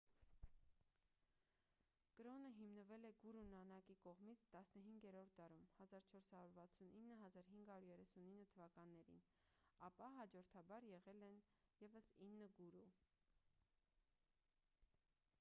կրոնը հիմնվել է գուրու նանակի կողմից 15-րդ դարում 1469-1539 թթ.: ապա հաջորդաբար եղել են ևս ինը գուրու: